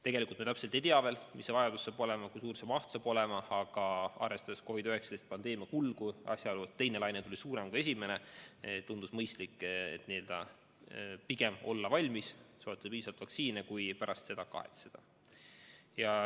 Tegelikult me ei tea veel, kui suur see vajadus saab olema, kui suur see maht saab olema, aga arvestades COVID-19 pandeemia kulgu ja asjaolu, et teine laine tuli suurem kui esimene, tundus mõistlik pigem olla valmis ja soetada piisavalt vaktsiine, et mitte pärast kahetseda.